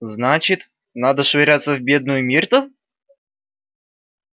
значит надо швыряться в бедную миртл